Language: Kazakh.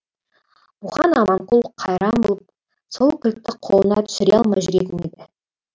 бұған аманқұл қайран болып сол кілтті қолына түсіре алмай жүретін еді